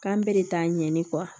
K'an bɛɛ de ta ɲɛɲini